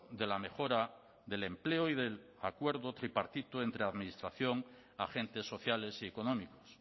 de la mejora del empleo y del acuerdo tripartito entre administración agentes sociales y económicos